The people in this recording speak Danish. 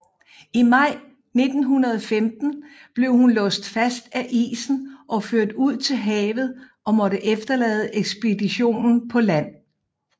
I maj 1915 blev hun låst fast af isen og ført ud til havet og måtte efterlade ekspeditionen på land